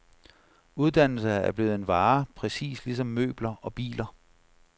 Uddannelse er blevet en vare, præcis ligesom møbler og biler.